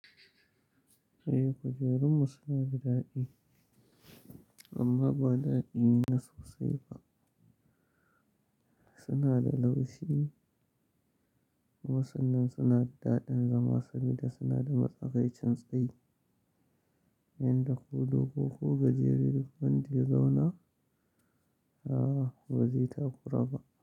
Eh, kujerunmu suna da daɗi amma ba daɗi na sosai ba. Suna da laushi. Wasu nan suna da daɗin zama saboda suna da matsakaicin tsayi. Yanda ko dogo ku gajere duk wanda ya zauna, a'a ba zai taɓa kura ba.